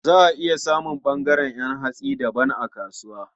Za a iya samun ɓangaren ƴan hatsi daban a kasuwa.